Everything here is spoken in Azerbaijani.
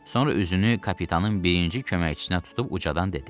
Sonra üzünü kapitanın birinci köməkçisinə tutub ucadan dedi: